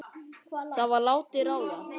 Það var látið ráða.